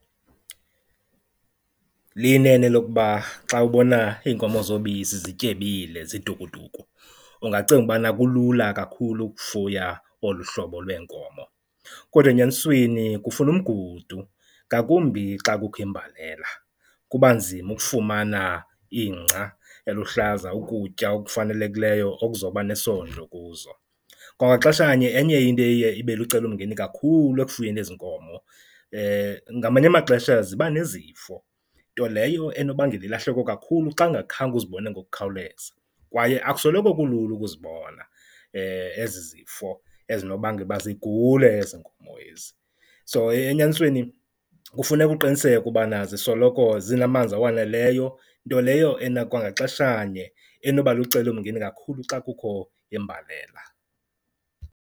Liyinene elokuba xa ubona iinkomo zobisi zityebile zitukutuku ungacinga ubana kulula kakhulu ukufuya olu hlobo lweenkomo. Kodwa enyanisweni kufuna umgudu ngakumbi xa kukho imbalela, kuba nzima ukufumana ingca eluhlaza ukutya okufanelekileyo okuzobane sondlo kuzo. Kwangaxeshanye enye into eye ibe lucelomngeni kakhulu ekufuyeni ezi nkomo, ngamanye amaxesha ziba nezifo nto leyo enobangela ilahleko kakhulu xa ungakhange uzibone ngokukhawuleza kwaye akusoloko kulula ukuzibona ezi zifo ezinobangela uba zigule ezi nkomo ezi. So, enyanisweni kufuneka uqiniseke ubana zisoloko zinamanzi awaneleyo, nto leyo kwangaxeshanye enoba lucelomngeni kakhulu xa kukho imbalela.